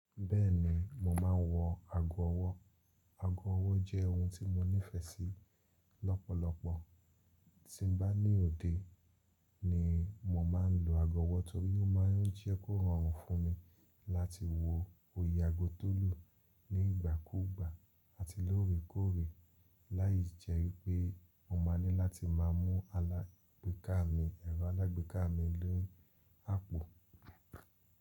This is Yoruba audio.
Bẹ́ẹ̀ni mo maa n wọ ago ọwọ́. Ago ọwọ́ jẹ́ ohun tí mo nífẹ̀ẹ́ sí lọ́pọ̀lọpọ̀. Tí n bá ní òde ni mo má n lo ago ọwọ́ torí ó má n jẹ́ kó rọrùn fún mi láti wo iye ago tó lù ní ìgbà kú ìgbà àti lóore kóòre. Láì jẹ́ wípẹ́ mo máa ní láti máa mú ẹ̀rọ alágbèéká mi ni àpò.